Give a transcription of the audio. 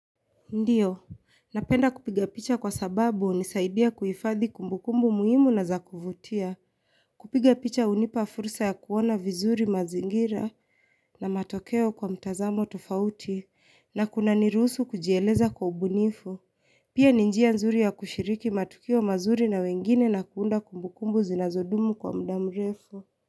Ndiyo, napenda kupiga picha kwa sababu hunisaidia kuhifadhi kumbukumbu muhimu na za kuvutia. Kupiga picha hunipa fursa ya kuona vizuri mazingira na matokeo kwa mtazamo tofauti na kuna ni rusuhu kujieleza kwa ubunifu. Pia ni njia nzuri ya kushiriki matukio mazuri na wengine na kuunda kumbukumbu zinazodumu kwa muda mrefu.